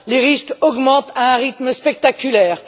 Les risques augmentent à un rythme spectaculaire.